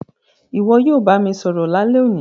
Ìwo yio bá mi sọ̀rọ̀ lálẹ́ òní